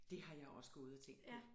Det har jeg også gået og tænkt på